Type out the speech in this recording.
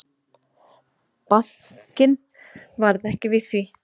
Bankinn varð ekki við því.